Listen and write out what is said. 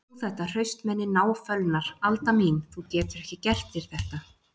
Þú þetta hraustmenni náfölnar: Alda mín, þú getur ekki gert þér þetta.